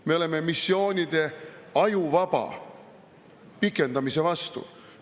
Me oleme missioonide ajuvaba pikendamise vastu.